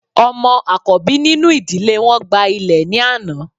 Ọmọ akọbi ninu idile wọn gba ilẹ ni ana